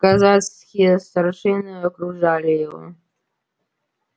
казацкие старшины окружали его